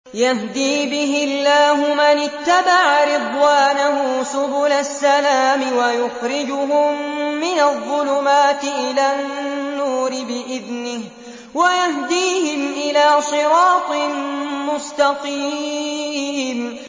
يَهْدِي بِهِ اللَّهُ مَنِ اتَّبَعَ رِضْوَانَهُ سُبُلَ السَّلَامِ وَيُخْرِجُهُم مِّنَ الظُّلُمَاتِ إِلَى النُّورِ بِإِذْنِهِ وَيَهْدِيهِمْ إِلَىٰ صِرَاطٍ مُّسْتَقِيمٍ